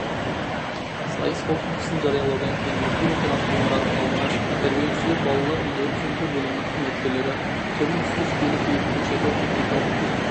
сайыс қорытындысын жариялаудан кейін мектеп-интернаты ғимаратының алдында тәрбиелеушілер балалар мен өрт сөндіру бөлімінің қызметкерлері түрлі-түсті жейделер киіп көкшетау техникалық институты